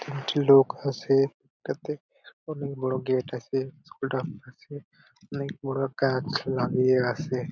তিনটি লোক আছে এটাতে | অনেক বড় গেট আছে | হসপিটাল আছে অনেক বড় একটা আছে।